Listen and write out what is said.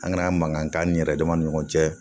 An ŋana mankan ni yɛrɛ dama ni ɲɔgɔn cɛ